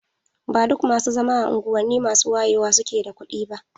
Ba duk masu zama a unguwanni masu wayewa suke da kuɗi ba.